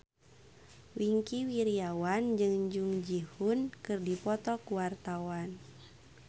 Wingky Wiryawan jeung Jung Ji Hoon keur dipoto ku wartawan